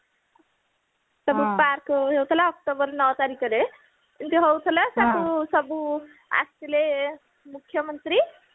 park ହଉଥିଲା october ନଅ ତାରିଖରେ ଏଇ ଯୋଉ ହଉଥିଲା ତାକୁ ସବୁ ଆସିଲେ ମୁଖ୍ୟମନ୍ତ୍ରୀ